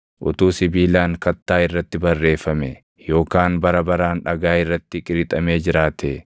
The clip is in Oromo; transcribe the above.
Utuu sibiilaan kattaa irratti barreeffamee yookaan bara baraan dhagaa irratti qirixamee jiraatee!